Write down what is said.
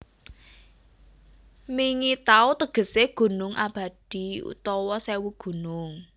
Mingi Taw tegesé gunung abadi utawa sèwu gunung